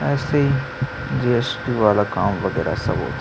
ऐसे जी_एस_टी वाला काम वगैरा सब हो--